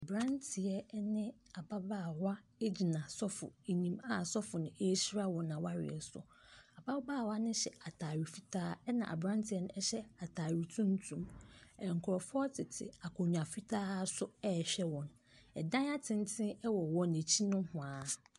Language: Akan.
Aberanteɛ ne ababaawa gyina sɔfo anim a sɔfo no rehyira wɔn awareɛ so. Ababaawa no hyɛ atade fitaa, ɛna aberanteɛ no hyɛ atade tuntum Nkurɔfoɔ tete akonnwa fitaa so rehwɛ wɔn. Ɛdan atenten wɔ wɔn akyi nohoa.